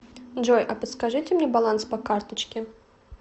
джой а подскажите мне баланс по карточке